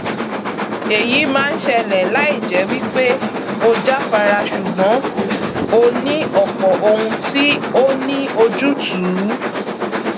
èyí máa ń ṣẹlẹ láì jẹ wí pé o jáfara ṣùgbọn o ní ọpọ ohun tí ó ní ojútùú